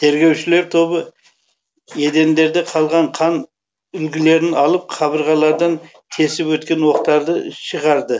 тергеушілер тобы едендерде қалған қан үлгілерін алып қабырғалардан тесіп өткен оқтарды шығарды